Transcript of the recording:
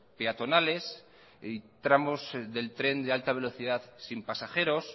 peatonales y tramos del tren de alta velocidad sin pasajeros